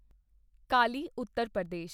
Kali Uttar Pradesh